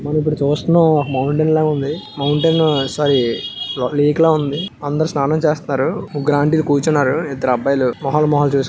మనం ఇప్పుడు చూస్తున్నాం. ఒక మౌంటెన్ లాగుంది. మౌంటెన్ సారీ లేక్ లా ఉంది. అందరూ స్నానాలు చేస్తున్నారు. ముగ్గురు ఆంటీ లు కూర్చున్నారు. ఇద్దరు అబ్బాయిలు మొహాలు మొహాలు చూసు--